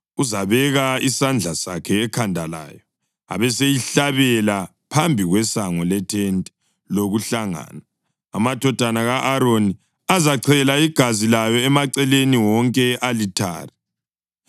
Uzabeka isandla sakhe ekhanda layo, abeseyihlabela phambi kwesango lethente lokuhlangana. Amadodana ka-Aroni azachela igazi layo emaceleni wonke e-alithare.